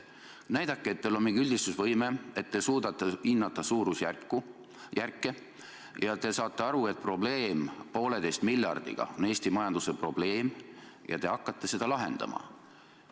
Näidake, et teil on mingi üldistusvõime, et te suudate hinnata suurusjärke ja et te saate aru, et poolteise miljardi kasutamise probleem on Eesti majanduse probleem ja te hakkate seda lahendama.